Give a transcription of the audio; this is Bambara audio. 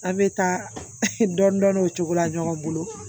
A bɛ taa dɔni dɔni o cogo la ɲɔgɔn bolo